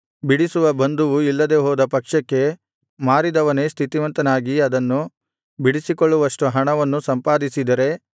ಬಿಡಿಸುವ ಬಂಧುವು ಇಲ್ಲದೆಹೋದ ಪಕ್ಷಕ್ಕೆ ಮಾರಿದವನೇ ಸ್ಥಿತಿವಂತನಾಗಿ ಅದನ್ನು ಬಿಡಿಸಿಕೊಳ್ಳುವಷ್ಟು ಹಣವನ್ನು ಸಂಪಾದಿಸಿದರೆ